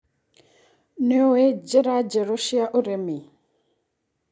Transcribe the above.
Nĩũĩ njĩra njerũ cia ũrĩmi.